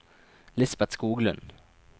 Lisbeth Skoglund